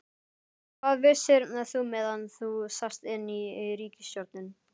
Hvað vissir þú meðan þú sast inni í ríkisstjórn?